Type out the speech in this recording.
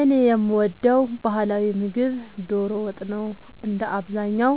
እኔ የምወደው ባህላዊ ምግብ ዶሮ ወጥ ነው። እንደ አብዛኛው